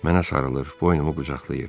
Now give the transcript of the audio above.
Mənə sarılır, boynumu qucaqlayır.